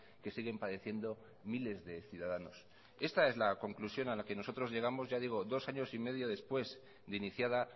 que siguen padeciendo miles de ciudadanos esta es la conclusión a la que nosotros llegamos ya digo dos años y medio después de iniciada